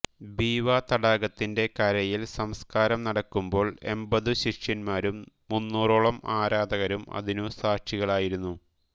ബീവാതടാകത്തിന്റെ കരയിൽ സംസ്കാരം നടക്കുമ്പോൾ എമ്പതു ശിഷ്യന്മാരും മുന്നൂറോളം ആരാധകരും അതിനു സാക്ഷികളായിരുന്നു